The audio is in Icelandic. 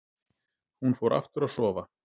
Hún fór aftur að sofa.